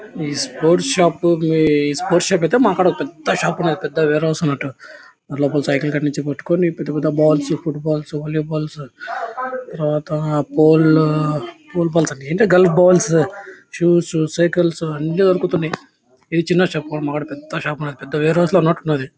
ఈ sports shop కీ sports shop అయితే మా కడా పెద్ద షాపు ఉన్నది. పెద్ద వేర్ హౌస్ ఉన్నట్టు లోపల పెద్ద పెద్ద బాల్స్ ఫుట్బాల్సు వోల్లీ బాల్స్ తరువాత పోల్ పోల్ బాల్స్ ఏంట్రా గల్లి బాల్స్ షూస్ సైకిల్స్ అన్ని దొరుకుతున్నాయి. ఇది చిన్న షాప్ మా కాడ పెద్ద షాపు పెద్ద వేర్ హౌస్ ఉన్నట్లు లాగా ఉన్నది.